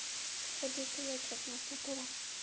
походу это я что-то напутала